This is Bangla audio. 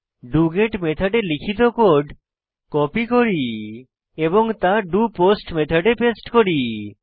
ডগেট মেথডে লিখিত কোড কপি করি এবং তা ডোপোস্ট মেথডে পেস্ট করি